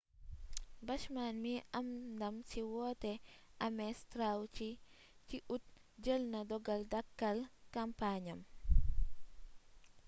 bachman mi am ndam ci woote ames straw ci ut jël na dogal dakkal kàmpaañam